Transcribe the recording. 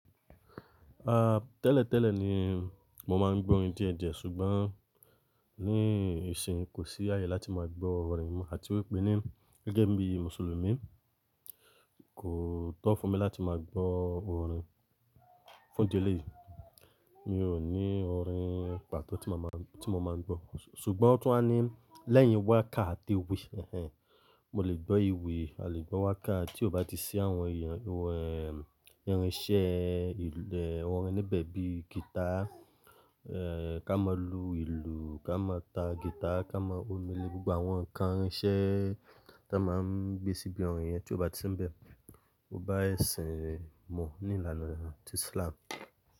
Ah, tẹ́lẹ̀ tẹ́lẹ̀ ni mo máa ń gbọ́ orin díẹ̀ díẹ̀ ṣùgbọ́n ní ìsìn kò sí ààyè láti máa gbọ́ orin àti wípé ní gẹ́gẹ́ bí Mùsùlùmí kò tọ́ fún mi láti máa gbọ́ orin. Fún díẹ̀ léyìn mi ò ní orin pàtó tí mo máa ń, tí mo máa ń gbọ́. Ṣùgbọ́n ó tún wá ní lẹ́yìn wákà àti ìwi, ẹhẹn. Mo lè gbọ́ ìwì, a lè gbọ́ wákà tí ó bá ti sí àwọn irinṣẹ́, orin níbẹ̀ bí i guitar, eh, ká máa lu ìlù, ká máa ta guitar, ká máa omé lé gbogbo àwọn ǹkan irinṣẹ́ tí a máa ń gbé síbi orin yẹn tí ó bá ti ń bẹ, ó bá ẹ̀sìn mọ̀ ní ìlànà ti Islam.